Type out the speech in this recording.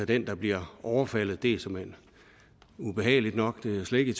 den der bliver overfaldet det er såmænd ubehageligt nok det er jeg slet ikke